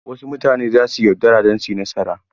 Wasu mutane za su yi yaudara don su yi nasara.